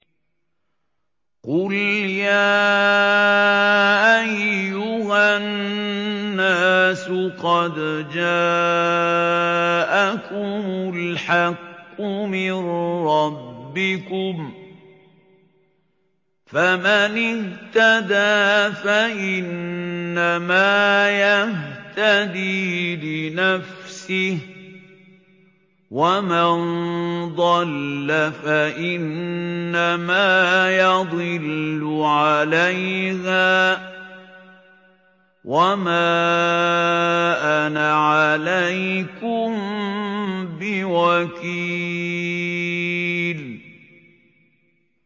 قُلْ يَا أَيُّهَا النَّاسُ قَدْ جَاءَكُمُ الْحَقُّ مِن رَّبِّكُمْ ۖ فَمَنِ اهْتَدَىٰ فَإِنَّمَا يَهْتَدِي لِنَفْسِهِ ۖ وَمَن ضَلَّ فَإِنَّمَا يَضِلُّ عَلَيْهَا ۖ وَمَا أَنَا عَلَيْكُم بِوَكِيلٍ